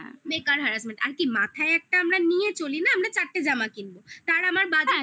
harassment আর কি মাথায় একটা আমরা নিয়ে চলি না আমরা চারটে জামা কিনবো তাঁর আমার budget